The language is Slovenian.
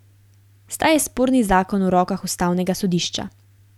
Zdaj je sporni zakon v rokah ustavnega sodišča.